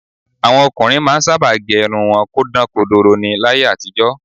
Àwọn ọkùnrin máa ń sábà gẹ irun wọn kó dán kodoro ni láyé àtijọ́